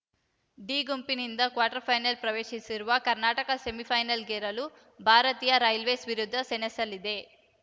D ಗುಂಪಿನಿಂದ quarter final ಪ್ರವೇಶಿಸಿರುವ ಕರ್ನಾಟಕ ಸೆಮಿಫೈನಲ್‌ಗೇರಲು ಭಾರತೀಯ ರೈಲ್ವೇಸ್‌ ವಿರುದ್ಧ ಸೆಣಸಲಿದೆ